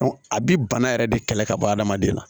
a bi bana yɛrɛ de kɛlɛ ka bɔ adamaden na